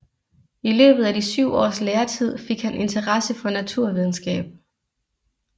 I løbet af de syv års læretid fik han interesse for naturvidenskab